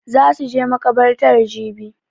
Za su je makabartar jibi